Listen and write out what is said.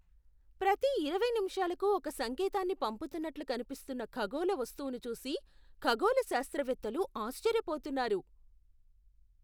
ప్రతి ఇరవై నిమిషాలకు ఒక సంకేతాన్ని పంపుతున్నట్లు కనిపిస్తున్న ఖగోళ వస్తువును చూసి ఖగోళ శాస్త్రవేత్తలు ఆశ్చర్యపోతున్నారు.